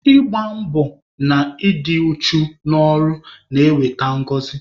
Ịgba mbọ na i dị uchu n'ọrụ na-eweta ngọzị.